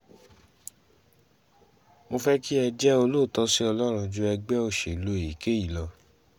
mo fẹ́ kí ẹ jẹ́ olóòótọ́ sí ọlọ́run ju ẹgbẹ́ òṣèlú èyíkéyìí lọ